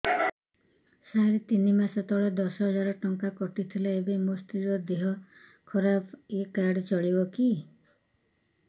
ସାର ତିନି ମାସ ତଳେ ଦଶ ହଜାର ଟଙ୍କା କଟି ଥିଲା ଏବେ ମୋ ସ୍ତ୍ରୀ ର ଦିହ ଖରାପ ଏ କାର୍ଡ ଚଳିବକି